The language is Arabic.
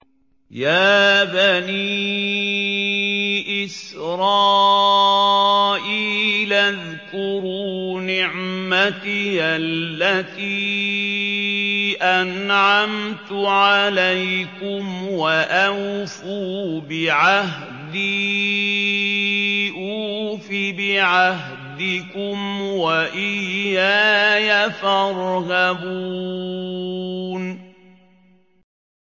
يَا بَنِي إِسْرَائِيلَ اذْكُرُوا نِعْمَتِيَ الَّتِي أَنْعَمْتُ عَلَيْكُمْ وَأَوْفُوا بِعَهْدِي أُوفِ بِعَهْدِكُمْ وَإِيَّايَ فَارْهَبُونِ